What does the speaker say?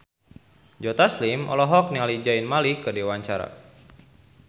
Joe Taslim olohok ningali Zayn Malik keur diwawancara